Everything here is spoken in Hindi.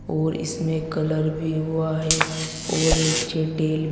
और इसमें कलर भी हुआ है और नीचे टेल --